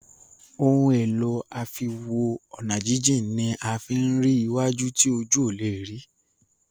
Ohun èlò àfiwo-ọ̀nàjíjìn ní a fín rí iwájú tí ojú ọ lẹ rí.